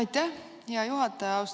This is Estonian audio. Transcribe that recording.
Aitäh, hea juhataja!